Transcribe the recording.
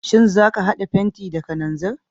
Shin za ka hada fenti da kananzir?